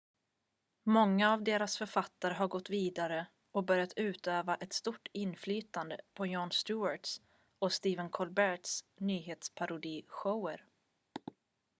många av deras författare har gått vidare och börjat utöva ett stort inflytande på jon stewarts och stephen colberts nyhetsparodishower